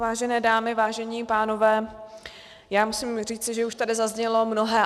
Vážené dámy, vážení pánové, já musím říci, že už tady zaznělo mnohé.